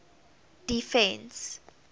defence